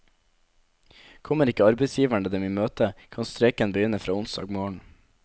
Kommer ikke arbeidsgiverne dem i møte, kan streiken begynne fra onsdag morgen.